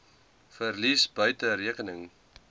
verlies buite rekening